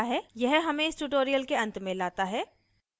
यह हमें इस tutorial के अंत में लाता है